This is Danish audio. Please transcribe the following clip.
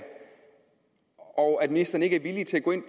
og at ministeren ikke er villig til at gå ind